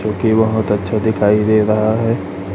जोकि बहोत अच्छा दिखाई दे रहा है।